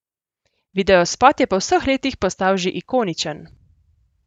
Videospot je po vseh letih postal že ikoničen.